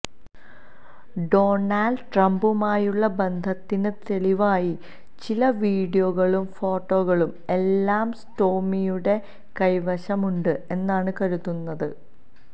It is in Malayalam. ഡൊണാള്ഡ് ട്രംപുമായുള്ള ബന്ധത്തിന് തെളിവായി ചില വീഡിയോകളും ഫോട്ടോകളും എല്ലാം സ്റ്റോമിയുടെ കൈവശം ഉണ്ട് എന്നാണ് കരുതുന്നത്